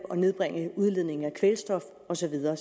nedbringe udledningen af kvælstof og så videre